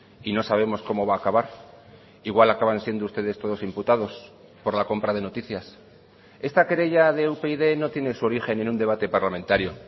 y no sabemos cómo va a acabar igual acaban siendo ustedes todos imputados por la compra de noticias esta querella de upyd no tiene su origen en un debate parlamentario